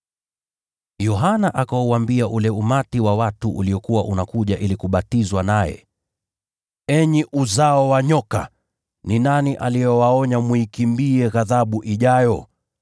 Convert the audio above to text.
Yohana akauambia ule umati wa watu uliokuwa unakuja ili kubatizwa naye, “Ninyi watoto wa nyoka! Ni nani aliyewaonya kuikimbia ghadhabu inayokuja?